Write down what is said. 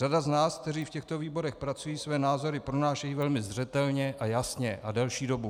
Řada z nás, kteří v těchto výborech pracují, své názory pronáší velmi zřetelně a jasně a delší dobu.